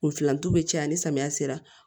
Kun filantu bɛ caya ni samiya sera